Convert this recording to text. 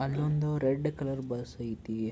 ಅಲ್ಲೊಂದು red colour bus ಅಯ್ತಿ.